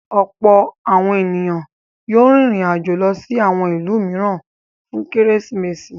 Ọ̀pọ̀ àwọn ènìyàn yóò rìnrìn-àjò lọ sí àwọn ìlú mìíràn fún Kérésìmesì.